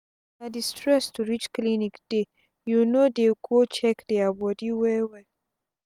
na d stress to reach clinic dey you no dey go check dia bodi well well